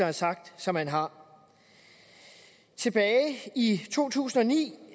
har sagt som han har tilbage i to tusind og ni